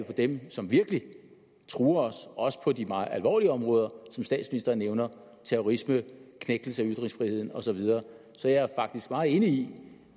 på dem som virkelig truer os også på de meget alvorlige områder som statsministeren nævner terrorisme knægtelse af ytringsfriheden og så videre så jeg er faktisk meget enig i